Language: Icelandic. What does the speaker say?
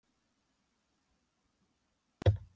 Einn niður og næsta spil.